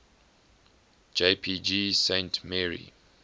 jpg saint mary